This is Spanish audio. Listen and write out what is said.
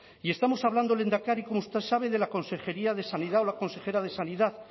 y estamos hablando lehendakari como usted sabe de la consejería de sanidad o la consejera de sanidad